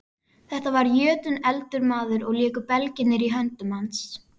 Þetta var jötunefldur maður og léku belgirnir í höndum hans.